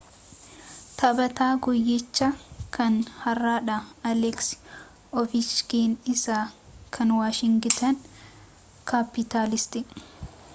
taphataa guuyyichaa kan hardhaa aleeksi oovechkiin isa kan waashingitan kaappitaalsiti